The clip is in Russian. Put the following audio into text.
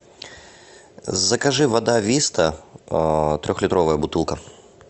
закажи вода виста трехлитровая бутылка